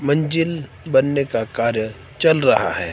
मंजिल बनने का कार्य चल रहा है।